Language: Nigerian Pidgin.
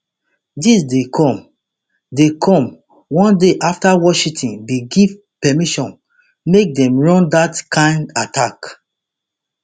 dis dey come dey come one day afta washington bin give permission make dem run dat kain attacks